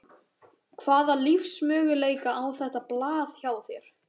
Hvaða lífsmöguleika á þetta blað hjá þér?